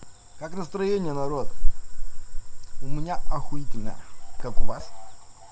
как настроение народ у меня охуительное как у вас